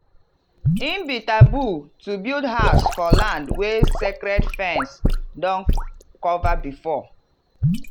e be taboo to build house for land wey sacred ferns don cover before.